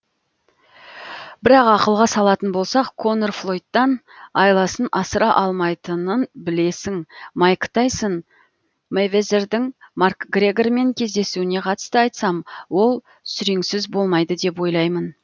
бірақ ақылға салатын болсақ конор флойдтан айласын асыра алмайтынын білесің майк тайсон мэйвезердің макгрегормен кездесуіне қатысты айтсам ол сүреңсіз болмайды деп ойлаймын